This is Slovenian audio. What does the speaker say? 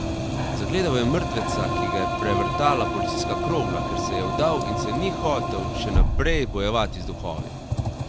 Zagledal je mrtveca, ki ga je prevrtala policijska krogla, ker se je vdal in se ni hotel še naprej bojevati z duhovi.